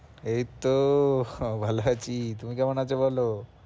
এইতো হ্যাঁ ভালো আছি তুমি কেমন আছো বলো?